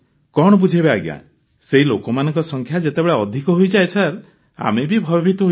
କଣ ବୁଝାଇବା ସେହି ଲୋକମାନଙ୍କ ସଂଖ୍ୟା ଯେତେବେଳେ ଅଧିକ ହୋଇଯାଏ ସାର୍ ଆମେ ବି ଭୟଭୀତ ହୋଇପଡ଼ୁ